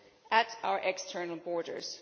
at our external borders